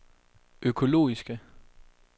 økologiske